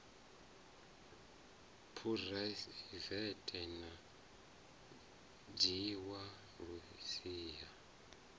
phuraivethe a dzhiwa lu siho